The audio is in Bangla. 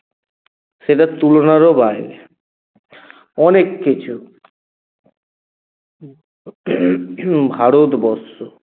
সেটা তুলনারও বাইরে অনেককিছু ভারতবর্ষ